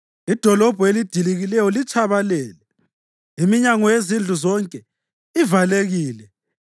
Idolobho elidilikileyo litshabalele; iminyango yezindlu zonke ivalekile.